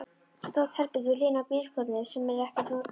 Stórt herbergi við hliðina á bílskúrnum sem er ekkert notað.